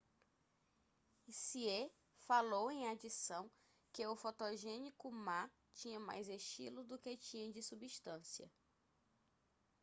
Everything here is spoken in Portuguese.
hsieh falou em adição que o fotogênico ma tinha mais estilo do que tinha de substância